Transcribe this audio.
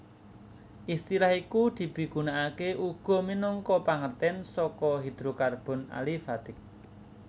Istilah iku dipigunakaké uga minangka pangertèn saka hidrokarbon alifatik